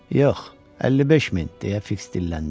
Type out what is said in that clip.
Yox, 55 min, - deyə Fiks dilləndi.